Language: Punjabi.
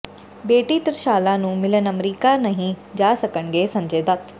ਬੇਟੀ ਤਿ੍ਰਸ਼ਾਲਾ ਨੂੰ ਮਿਲਣ ਅਮਰੀਕਾ ਨਹੀਂ ਜਾ ਸਕਣਗੇ ਸੰਜੇ ਦੱਤ